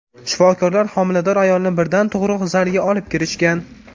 Shifokorlar homilador ayolni birdan tug‘ruq zaliga olib kirishgan.